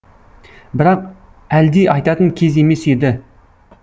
бірақ әлди айтатын кез емес еді